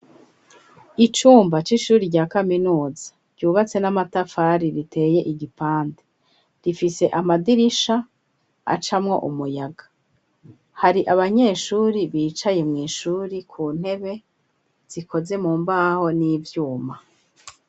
Icumba, c'ishuri rya kaminuza, ryubatse n'amatafari, riteye igipande, rifise amadirisha, acamwo umuyaga; hari abanyeshuri, bicaye mw'ishuri ku ntebe, zikoze mu mbaho, n'ivyuma.